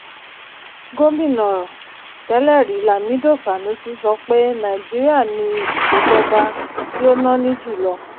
gómínà tẹ́lẹ̀rí lamido sanusi sọ pé nàìjíríà ni ìṣèjọba tí ó náni jùlọ.